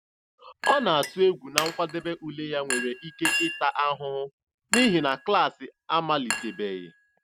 Ọ na-atụ egwu na nkwadebe ule ya nwere ike ịta ahụhụ n'ihi na klaasị amalitebeghị.